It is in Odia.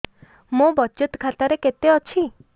ମୋ ବଚତ ଖାତା ରେ କେତେ ଅଛି